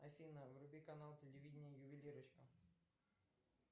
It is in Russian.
афина вруби канал телевидения ювелирочка